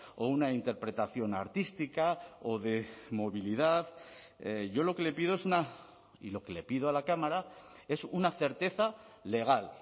o una interpretación artística o de movilidad yo lo que le pido es una y lo que le pido a la cámara es una certeza legal